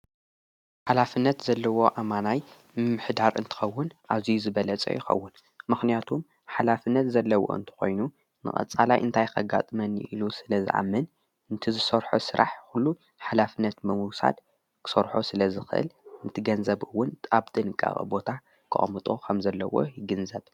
ሓላፍነት ዘለዎ ኣማናይ ምኅዳር እንትኸውን ኣዙይ ዝበለጸ ይኸውን ምኽንያቱም ሓላፍነት ዘለዎ እንተ ኾይኑ ንቐፃላይ እንታይከጋጥመኒ ኢሉ ስለ ዝኣምን እንቲ ዝሠርሖ ሥራሕ ዂሉ ሓላፍነት መዉሳድ ክሠርሖ ስለ ዝኽእል ንትገንዘብውን ጣብጥ ንቃቐ ቦታ ክኦምጦ ኸም ዘለዎ ይግንዘብ።